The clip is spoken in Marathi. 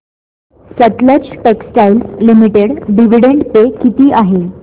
Sutlej Textiles Limited dividend pay किती आहे